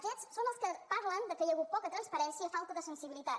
aquests són els que parlen que hi ha hagut poca transpa rència falta de sensibilitat